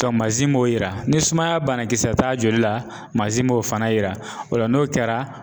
manzin b'o yira ni sumaya banakisɛ t'a joli la manzin m'o fana yira o la n'o kɛra